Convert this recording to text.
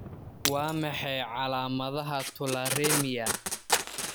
Waa maxay calaamadaha tularemia?